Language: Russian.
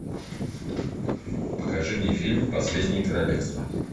покажи мне фильм последнее королевство